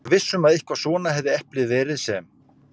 Var viss um að einmitt svona hefði eplið verið sem